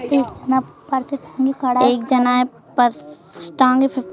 एक जाना पर्स टांग--